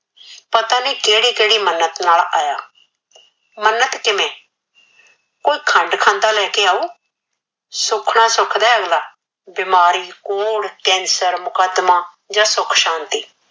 ਪਤਾ ਨਹੀ ਕਿਹੜੀ ਕਿਹੜੀ ਮਨਤ ਨਾਲ ਆਇਆ ਮਨਤ ਕਿਵੇ ਕੋਈ ਖੰਡ ਖਾਂਦਾ ਲੈ ਕੇ ਆਓ ਸੁਖਣਾ ਸੁਖਦਾ ਏ ਅਗਲਾ ਬਿਮਾਰੀ ਕੋੜ ਕੈਸਰ ਮੁਕਦਮਾ ਜਾ ਸੁਖ ਸ਼ਾਂਤੀ